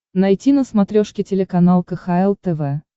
найти на смотрешке телеканал кхл тв